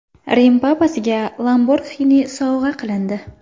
Rim papasiga Lamborghini sovg‘a qilindi.